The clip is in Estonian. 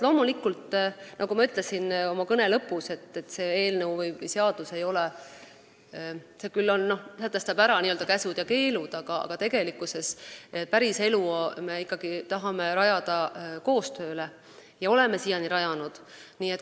Loomulikult, nagu ma ütlesin oma kõne lõpus, see seadus küll sätestab ära n-ö käsud ja keelud, aga tegelikkuses me tahame päris elu rajada ikkagi koostööle, olemegi siiani nii teinud.